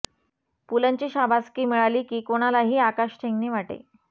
पुलंची शाबासकी मिळाली की कोणालाही आकाश ठेंगणे वाटे